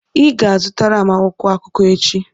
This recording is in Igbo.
ị ga-azụtara m akwụkwọ akụkọ echi!